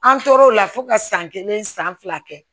An tora o la fo ka san kelen san fila kɛ